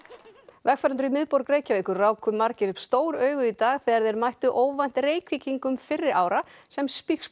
vegfarendur í miðborg Reykjavíkur ráku margir upp stór augu í dag þegar þeir mættu óvænt Reykvíkingum fyrri ára sem